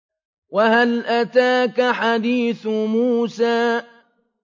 وَهَلْ أَتَاكَ حَدِيثُ مُوسَىٰ